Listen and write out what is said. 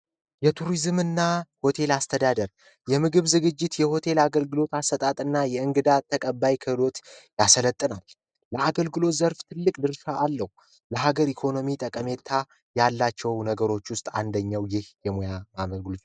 የቱሪዝምና ሆቴል አስተዳደር የምግብ ዝግጅት የሆቴል አገልግሎት አሰጣጥና የእንግዳ ተቀባይነት ያሰረተ ነው ለሀገሪ ኢኮኖሚ ጠቀሜታ ያላቸው ነገሮች ውስጥ አንደኛው ይህ የሙያ አገልግሎት